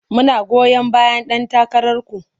Muna goyon bayan ɗan takararku.